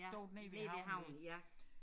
Ja nede ved havnen ja